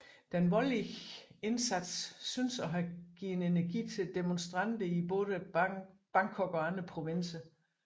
Den voldelige indsats syntes at have givet energi til demonstranterne i både Bangkok og andre provinser